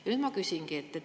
Ja nüüd ma küsingi.